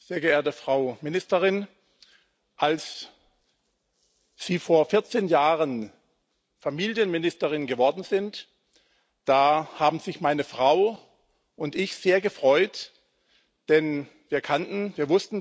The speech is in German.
Sehr geehrte Frau Ministerin, als Sie vor 14 Jahren Familienministerin geworden sind, da haben meine Frau und ich uns sehr gefreut, denn wir kannten Sie.